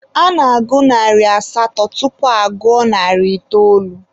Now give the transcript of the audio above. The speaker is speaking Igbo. A na-agụ narị asatọ tupu agụọ narị itoolu.